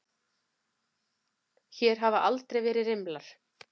Hér hafa aldrei verið rimlar.